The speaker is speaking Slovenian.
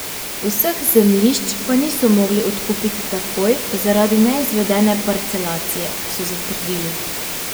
Vseh zemljišč pa niso mogli odkupiti takoj zaradi neizvedene parcelacije, so zatrdili.